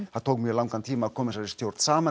það tók mjög langan tíma að koma þessari stjórn saman